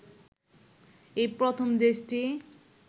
এই প্রথম দেশটি